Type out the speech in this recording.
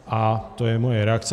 A to je moje reakce.